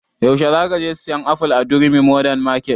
Yaushe za ka je sayan aful a durumi modern market?